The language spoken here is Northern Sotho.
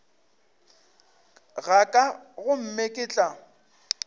ga ka gomme ke tla